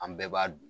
An bɛɛ b'a dun